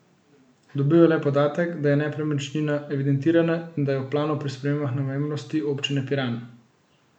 Dobil je le podatek, da je nepremičnina evidentirana in da je v planu pri spremembah namembnosti občine Piran.